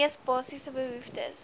mees basiese behoeftes